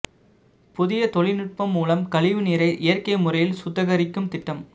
புதிய தொழில் நுட்பம் மூலம் கழிவு நீரை இயற்கை முறையில் சுத்திகரிக்கும் திட்டம்